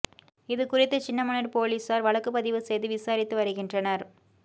இது குறித்து சின்னமனூா் போலீஸாா் வழக்கு பதிவு செய்து விசாரித்து வருகின்றனா்